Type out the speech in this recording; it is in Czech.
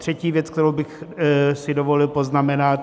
Třetí věc, kterou bych si dovolil poznamenat.